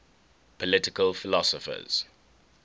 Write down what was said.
political philosophers